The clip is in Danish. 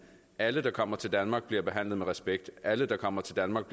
alle der kommer til danmark bliver behandlet med respekt alle der kommer til danmark